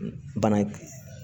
Bana